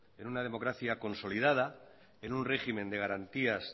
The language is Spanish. en una democracia consolidada en un régimen de garantías